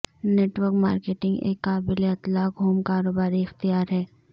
net work marketing ایک قابل اطلاق ہوم کاروباری اختیار ہے